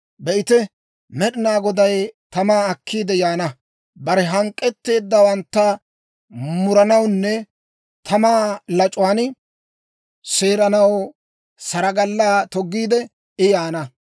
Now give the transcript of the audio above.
Be'ite, Med'inaa Goday tamaa akkiide yaana. Bare hank'k'etteeddawantta muranawunne tamaa lac'uwaan seeranaw saragalaa toggiide, I yaana.